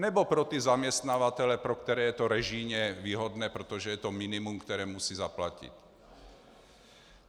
Nebo pro ty zaměstnavatele, pro které je to režijně výhodné, protože je to minimum, které musí zaplatit?